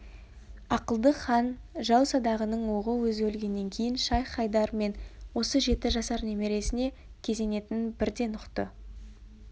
ақылды хан жау садағының оғы өзі өлгеннен кейін шайх-хайдар мен осы жеті жасар немересіне кезенетінін бірден ұқты